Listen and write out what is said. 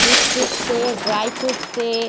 biscuit से dry fruit से --